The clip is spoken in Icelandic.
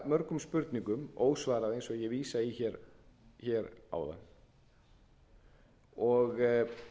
mörgum spurningum ósvarað eins og ég vísaði í hér áðan og